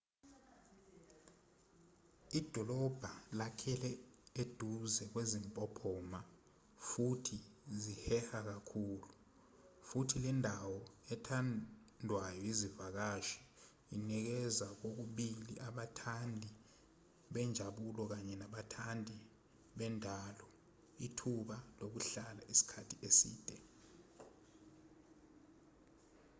idolobha lakheke eduze kwezimpophoma futhi ziheha kakhulu futhi lendawo ethandwayo yezivakashi inikeza kokubili abathandi benjabulo kaye nabathandi bendalo ithuba lokuhlala isikhathi eside